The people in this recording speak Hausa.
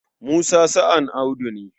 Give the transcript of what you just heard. Musa sa'an Audu ne.